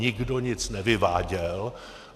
Nikdo nic nevyváděl.